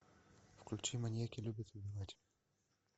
включи маньяки любят убивать